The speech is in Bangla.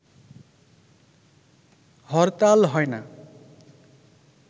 হরতাল হয় না